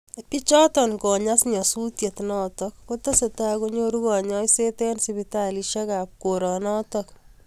Biichoto konyas nyasutiet notok kotesetai konyoru kanyaiset eng sipitalishek ab koranotok.